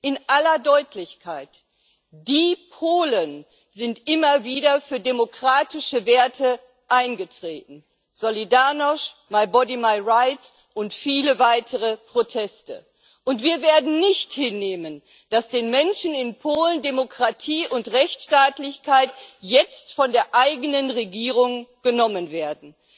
In aller Deutlichkeit Die Polen sind immer wieder für demokratische Werte eingetreten Solidarność, my body, my rights und viele weitere Proteste und wir werden nicht hinnehmen, dass den Menschen in Polen Demokratie und Rechtsstaatlichkeit jetzt von der eigenen Regierung genommen werden.